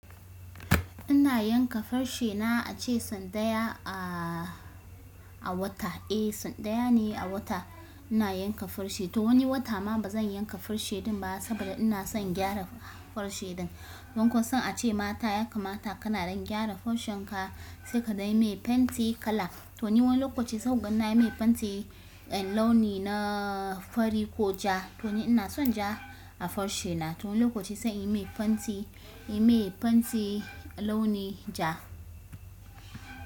Ina yanka farce na ace sau ɗaya a, a wata. Eh sau ɗaya ne a wata ina yanka farce. To wani wata ma bazan yanka farce din ba saboda ina son gyara farce din. Don kasan ace ma yakamata kana ɗan gyara farcen ka sai ka dai yi mai fenti kala. To ni wani lokaci sau guda nayi mai fenti, eh launi na fari ko ja. To ni ina son ja a farshi na. To wani lokaci sai in yi mai fenti, in yi mai fenti launi ja.